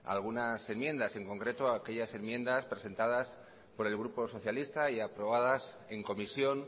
algunas enmiendas en concreto aquellas enmiendas presentadas por el grupo socialista y aprobadas en comisión